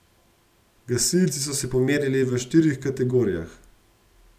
Gasilci so se pomerili v štirih kategorijah.